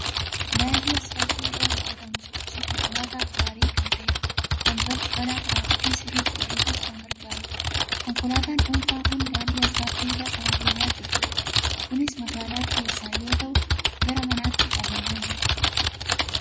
Daandiin asfaaltii irraa hojjetamu sochii konkolaataaf gaarii kan ta'e, balaa tiraafikii sirriitti hir'isuuf kan gargaarudha. Konkolaataan dhuunfaan kun daandii asfaaltii irra kan adeemaa jirtudha. Kunis magaala keessa yoo ta'u, gara manaatti adeemaa jirti.